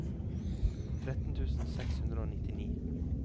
tretten tusen seks hundre og nittini